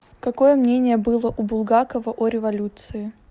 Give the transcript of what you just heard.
какое мнение было у булгакова о революции